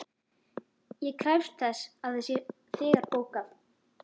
Ég krefst þess að það sé þegar bókað.